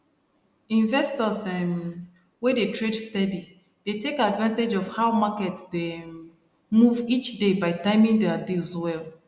investors um wey dey trade steady dey take advantage of how market dey um move each day by timing their deals well